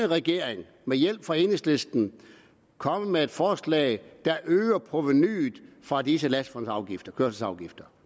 regering med hjælp fra enhedslisten kommet med et forslag der øger provenuet fra disse kørselsafgifter